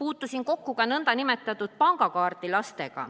Puutusin kokku ka nn pangakaardilastega,